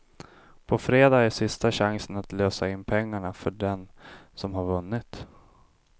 På fredag är sista chansen att lösa in pengarna för den som har vunnit.